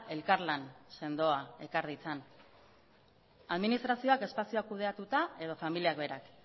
elkarlan sendoa ekar ditzan administrazioak espazioa kudeatuta edo familiak berak